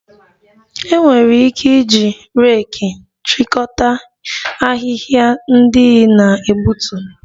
E nwere ike iji reeki chịkọta ahịhịa ndị ị na-egbutu